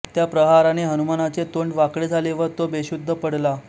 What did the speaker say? त्या प्रहाराने हनुमानाचे तोंड वाकडे झाले व तो बेशुद्ध पडला